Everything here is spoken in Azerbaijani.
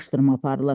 Araşdırma aparılır.